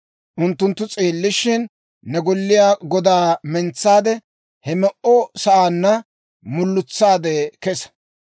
Unttunttu s'eellishshin, ne golliyaa godaa mentsaade; he me'o sa'aanna mulutsaade kessa.